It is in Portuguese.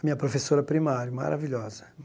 Minha professora primária, maravilhosa.